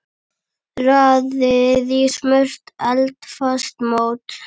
Raðið í smurt eldfast mót.